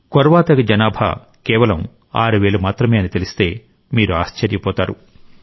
కొర్వా తెగ జనాభా కేవలం 6000 మాత్రమే అని తెలిస్తే మీరు ఆశ్చర్యపోతారు